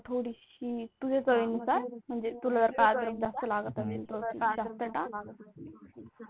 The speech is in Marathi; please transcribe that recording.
थोडीशी तुझ्या चवीनुसार तुला जर अद्रक जास्त लागत असेल जास्त टाक.